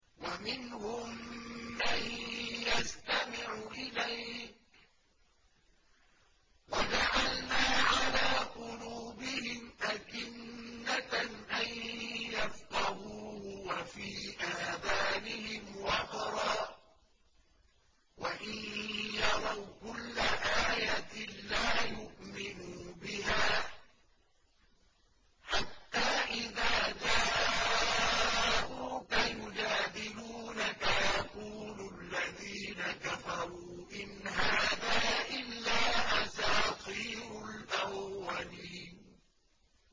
وَمِنْهُم مَّن يَسْتَمِعُ إِلَيْكَ ۖ وَجَعَلْنَا عَلَىٰ قُلُوبِهِمْ أَكِنَّةً أَن يَفْقَهُوهُ وَفِي آذَانِهِمْ وَقْرًا ۚ وَإِن يَرَوْا كُلَّ آيَةٍ لَّا يُؤْمِنُوا بِهَا ۚ حَتَّىٰ إِذَا جَاءُوكَ يُجَادِلُونَكَ يَقُولُ الَّذِينَ كَفَرُوا إِنْ هَٰذَا إِلَّا أَسَاطِيرُ الْأَوَّلِينَ